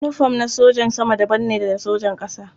Yinifom na sojan sama daban ne da na sojan ƙasa.